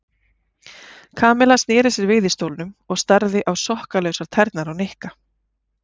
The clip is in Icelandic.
Kamilla snéri sér við í stólnum og starði á sokkalausar tærnar á Nikka.